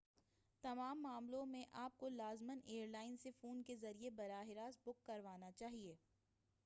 تمام معاملوں میں آپ کو لازماً ایئر لائن سے فون کے ذریعہ براہ راست بُک کروانا چاہیئے